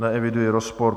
Neeviduji rozpor.